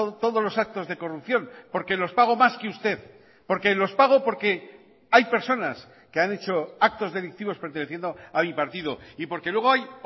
todos los actos de corrupción porque los pago más que usted porque los pago porque hay personas que han hecho actos delictivos perteneciendo a mi partido y porque luego hay